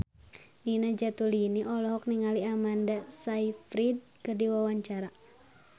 Nina Zatulini olohok ningali Amanda Sayfried keur diwawancara